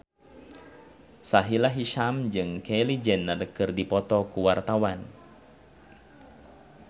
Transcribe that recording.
Sahila Hisyam jeung Kylie Jenner keur dipoto ku wartawan